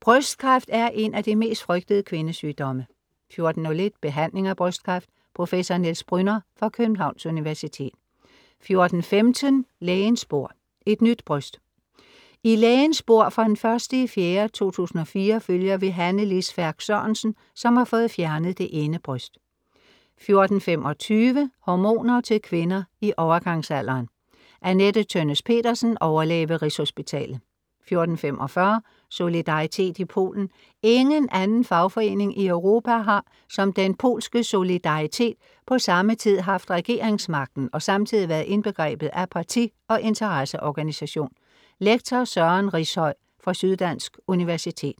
Brystkræft er en af de mest frygtede kvindesygdomme 14:01 Behandling af brystkræft. Prof. Niels Brünner fra Københavns Universitet 14:15 Lægens bord: Et nyt bryst. I Lægens bord fra d. 01.04 2004 følger vi Hanne Lis Færch Sørensen, som har fået fjernet det ene bryst 14:25 Hormoner til kvinder i overgangsalderen. Anette Tønnes Pedersen, overlæge ved Rigshospitalet 14:45 Solidaritet i Polen. Ingen anden fagforening i Europa har som den polske Solidaritet på samme tid haft regeringsmagten og samtidig været indbegrebet af parti- og interesseorganisation. Lektor Søren Riishøj fra Syddansk Universitet